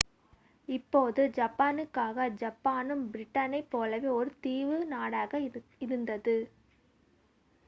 இப்போது ஜப்பானுக்காக ஜப்பானும் பிரிட்டனைப் போலவே ஒரு தீவு நாடாக இருந்தது